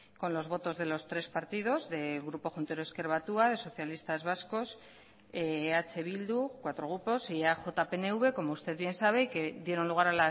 con los votos de los tres partidos del grupo juntero ezker batua de socialistas vascos eh bildu cuatro grupos y eaj pnv como usted bien sabe que dieron lugar